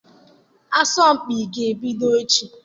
Asọmpi a ga-ebido echi.